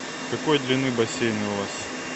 какой длины бассейн у вас